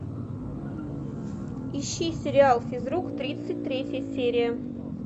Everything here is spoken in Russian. ищи сериал физрук тридцать третья серия